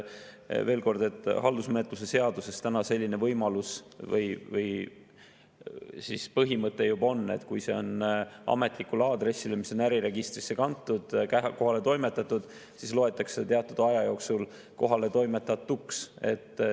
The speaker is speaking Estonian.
Veel kord, haldusmenetluse seaduses juba on selline võimalus või põhimõte, et kui see on ametlikule aadressile, mis on äriregistrisse kantud, kohale toimetatud, siis loetakse see teatud aja jooksul kohaletoimetatuks.